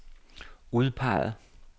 udpeget